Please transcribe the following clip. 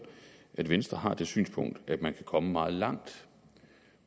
at venstre har det synspunkt at man kan komme meget langt